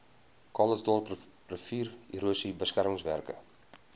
calitzdorp riviererosie beskermingswerke